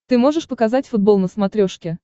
ты можешь показать футбол на смотрешке